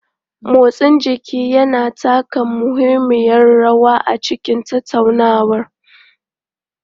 Motsin jiki yana taka muhimmiyar rawa a cikin tattaunawa.